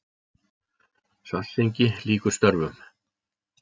Svartsengi lýkur störfum.